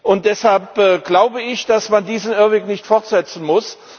Und deshalb glaube ich, dass man diesen Irrweg nicht fortsetzen muss.